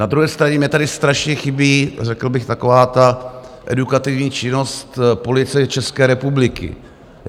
Na druhé straně mi tady strašně chybí řekl bych taková ta edukativní činnost Policie České republiky.